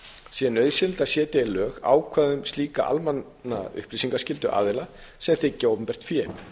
sé nauðsynlegt að setja í lög ákvæði um slíka almenna upplýsingaskyldu aðila sem þiggja opinbert fé